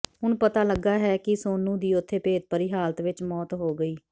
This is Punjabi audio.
ਹੁਣ ਪਤਾ ਲੱਗਾ ਹੈ ਕਿ ਸੋਨੂੰ ਦੀ ਉੱਥੇ ਭੇਤਭਰੀ ਹਾਲਤ ਵਿੱਚ ਮੌਤ ਹੋ ਗਈ